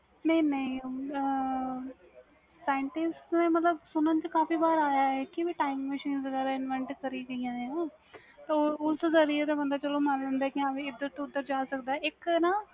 ਨਹੀਂ ਨਹੀਂ scientific ਮਤਬਲ ਸੁਣਨ ਚ ਕਾਫੀ ਬਾਰ ਆਇਆ ਵ ਕਿ time manchines invent ਕਰੀ ਦੀਆਂ ਵ ਤਾ ਉਸ ਜ਼ਰੀਏ ਚਲੋ ਮਨ ਲਈ ਦਾ ਵ ਇੰਧਰ ਉਹਦਰ ਜਾ ਸਕਦਾ ਵ ਇਕ ਨਾ